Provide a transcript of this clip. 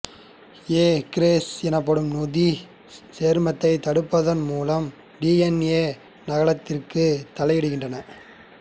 ஏ gyrase எனப்படும் நொதிச் சேர்மத்தைத் தடுப்பதன் மூலமாக டி என் ஏ நகலாக்கத்தில் தலையிடுகின்றன